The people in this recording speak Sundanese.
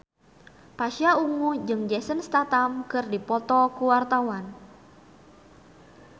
Pasha Ungu jeung Jason Statham keur dipoto ku wartawan